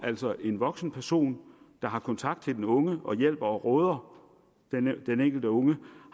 altså en voksen person der har kontakt til den unge og hjælper og råder den enkelte unge